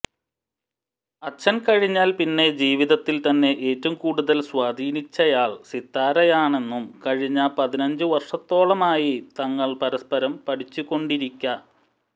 അച്ഛൻ കഴിഞ്ഞാൽ പിന്നെ ജീവിതത്തിൽ തന്നെ ഏറ്റവും കൂടുതൽ സ്വാധീനിച്ചയാൾ സിത്താരയാണെന്നും കഴിഞ്ഞ പതിനഞ്ചു വർഷത്തോളമായി തങ്ങൾ പരസ്പരം പഠിച്ചുകൊണ്ടിരിക